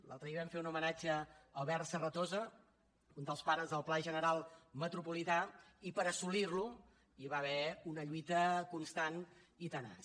l’altre dia vam fer un homenatge a albert serratosa un dels pares del pla general metropolità i per assolir lo hi va haver una lluita constant i tenaç